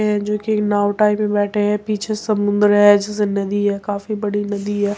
है जो कि नाव टाइप में बठे हैं। पीछे समुन्द्र है जैसे नदी है काफी बड़ी नदी है।